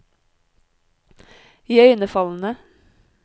iøynefallende